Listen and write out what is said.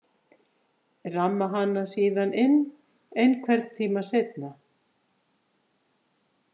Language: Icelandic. Ramma hana síðan inn einhvern tíma seinna.